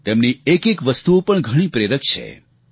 તેમની એકએક વસ્તુઓ પણ ઘણી પ્રેરક છે